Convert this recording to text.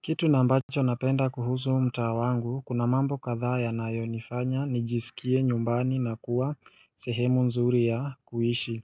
Kitu na ambacho napenda kuhusu mtaa wangu kuna mambo kadhaa yanayonifanya nijisikie nyumbani na kuwa sehemu nzuri ya kuishi